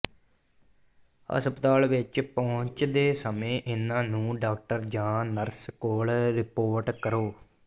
ਹਸਪਤਾਲ ਵਿਚ ਪਹੁੰਚਦੇ ਸਮੇਂ ਇਹਨਾਂ ਨੂੰ ਡਾਕਟਰ ਜਾਂ ਨਰਸ ਕੋਲ ਰਿਪੋਰਟ ਕਰੋ